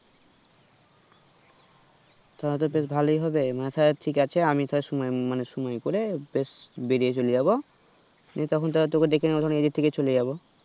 তাহলে তো বেশ ভালোই হবে তালে ঠিক আছে আমি তাহলে সময় মমানে সময় করে বেশ বেরিয়ে চলেযাবো, দিয়ে তখন তাহলে তোকে ডেকে নেবো নিজেথেকে চলে যাবো